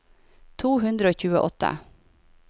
to hundre og tjueåtte